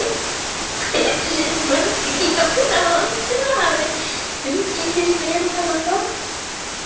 Ætli mörg hjón í landinu hafi umgengist meira þennan dag?